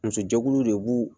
Muso jɛkuluw de b'u